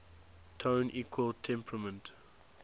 tone equal temperament